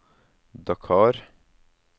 Dakar